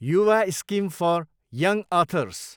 Yuva scheme for young others